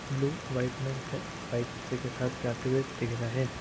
Blue white किसी के साथ जाते हुए दिख रहा है।